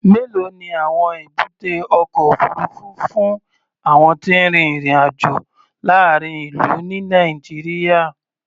Mélòó ni àwọn èbúté ọkọ̀ òfuurufú fún àwọn tí ń rin ìrìn-àjò láàárín ìlú, ní Nàìjíríà?